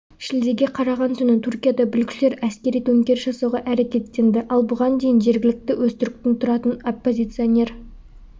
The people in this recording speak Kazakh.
шілдеге қараған түні түркияда бүлікшілер әскери төңкеріс жасауға әрекеттенді ал бұған дейін жергілікті өзтүріктің тұратын оппозиционер